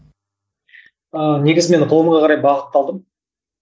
ыыы негізі мен ғылымға қарай бағытталдым